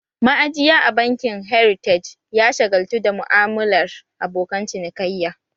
Ma'ajiya a bankin heritage ya shagaltu da mu'amalar abokan cinikayya